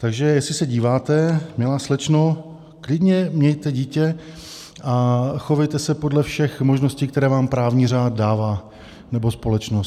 Takže jestli se díváte, milá slečno, klidně mějte dítě a chovejte se podle všech možností, které vám právní řád dává, nebo společnost.